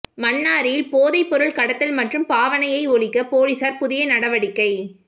மன்னாரில் போதைப்பொருள் கடத்தல் மற்றும் பாவனையை ஒழிக்க பொலிசார் புதிய நடவடிக்கை